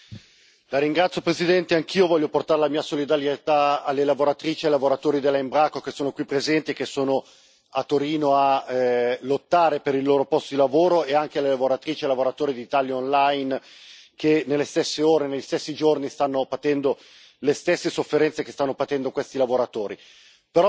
Signor Presidente, onorevoli colleghi, anch'io voglio portare la mia solidarietà alle lavoratrici e ai lavoratori della Embraco, che sono qui presenti e che sono a Torino a lottare per i loro posti di lavoro, e anche alle lavoratrici e ai lavoratori di Italia Online che nelle stesse ore, negli stessi giorni, stanno patendo